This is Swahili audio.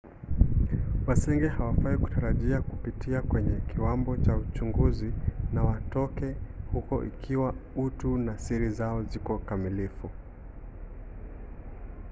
wasenge hawafai kutarajia kupitia kwenye kiwambo cha uchunguzi na watoke huko ikiwa utu na siri zao ziko kamilifu